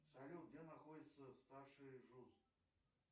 салют где находится старший джус